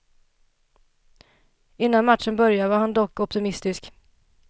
Innan matchen började var han dock optimistisk.